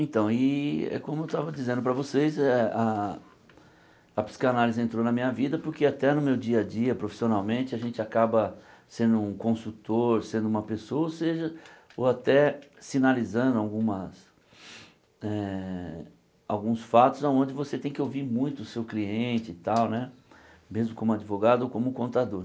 Então, e é como eu estava dizendo para vocês eh, a a psicanálise entrou na minha vida porque até no meu dia a dia, profissionalmente, a gente acaba sendo um consultor, sendo uma pessoa, ou seja, ou até sinalizando algumas eh alguns fatos onde você tem que ouvir muito o seu cliente e tal né, mesmo como advogado ou como contador.